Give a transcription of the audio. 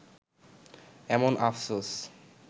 এমন আফসোস